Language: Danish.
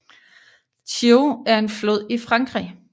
Thiou er en flod i Frankrig